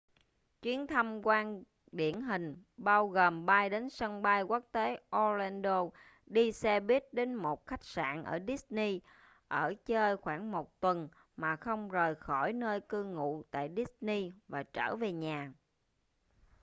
chuyến thăm quan điển hình bao gồm bay đến sân bay quốc tế orlando đi xe buýt về một khách sạn ở disney ở chơi khoảng một tuần mà không rời khỏi nơi cư ngụ tại disney và trở về nhà